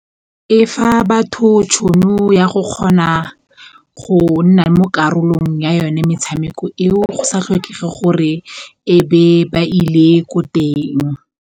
E fa batho tšhono ya go kgona go nna mo karolong ya yone metshameko eo go sa tlhokege gore ebe ba ile ko teng.